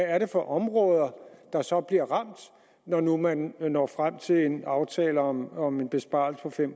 er for områder der så bliver ramt når nu man når frem til en aftale om om en besparelse på fem